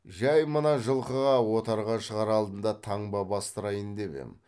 жай мына жылқыға отарға шығар алдында таңба бастырайын деп ем